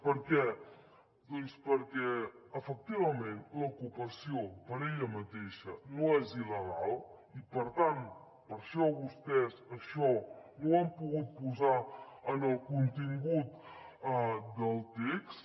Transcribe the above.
per què doncs perquè efectivament l’ocupació per ella mateixa no és il·legal i per tant per això vostès això no ho han pogut posar en el contingut del text